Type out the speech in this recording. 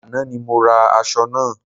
Àná ni mo ra aṣọ náà